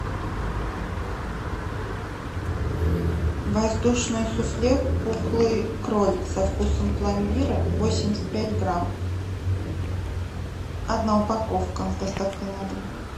воздушное суфле пухлый кролик со вкусом пломбира восемьдесят пять грамм одна упаковка с доставкой на дом